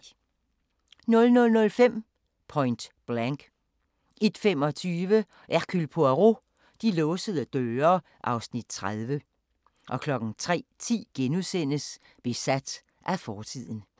00:05: Point Blank 01:25: Hercule Poirot: De låsede døre (Afs. 30) 03:10: Besat af fortiden *